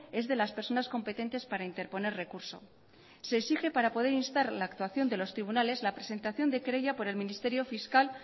es el de las personas competentes para interponer recursos se exige para poder instar la actuación de los tribunales la presentación de querella por el ministerio fiscal